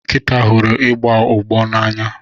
Nkịta huru igbọ ụgbọ n'anya.